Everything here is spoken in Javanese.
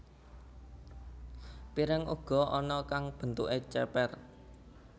Piring uga ana kang bentuké cépér